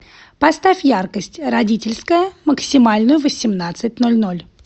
поставь яркость родительская максимальную в восемнадцать ноль ноль